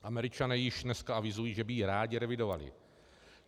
Američané již dneska avizují, že by ji rádi revidovali.